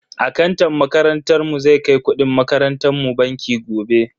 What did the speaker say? Akantan makarantar mu zai kai kudin makarantan mu banki gobe.